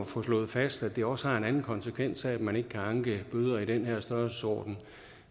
få slået fast at det også har en anden konsekvens at man ikke kan anke bøder i den her størrelsesorden